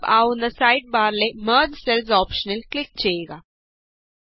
pop up ആവൂണ് side ബാറിലെ merge cells ഓപ്ഷനില് ക്ലിക് ചെയ്യുക